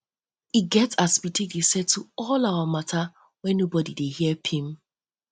we get as we dey take settle all our mata wey nobodi dey her pim